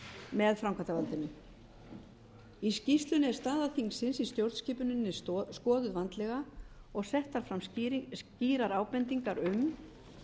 með framkvæmdarvaldinu í skýrslunni er staða þingsins í stjórnskipuninni skoðuð vandlega og settar fram skýrar ábendingar um